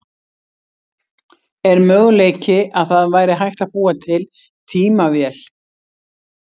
Er möguleiki að það væri hægt að búa til tímavél?